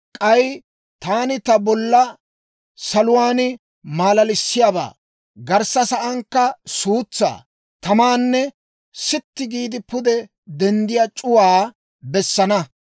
«K'ay taani bolla saluwaan maalalissiyaabaa, garssa saankka suutsaa, tamaanne sitti giide pude denddiyaa c'uwaa bessana.